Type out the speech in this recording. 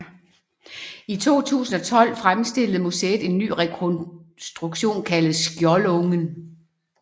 I 2012 fremstillede museet en ny rekonstruktion kaldet Skjoldungen